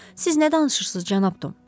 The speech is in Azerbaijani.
Siz nə danışırsınız, cənab Tom?